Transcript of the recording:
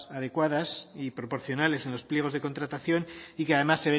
adecuadas y proporcionales en los pliegos de contratación y que además